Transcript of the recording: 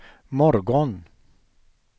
morgon